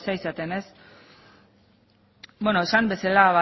zerekin ari zareten esan bezala